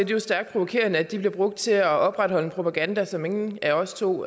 jo stærkt provokerende at de bliver brugt til at opretholde en propaganda som ingen af os to